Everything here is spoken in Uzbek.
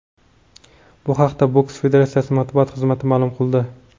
Bu haqda boks federatsiyasi matbuot xizmati ma’lum qildi .